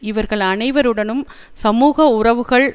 இவர்கள் அனைவருடனும் சமூக உறவுகள்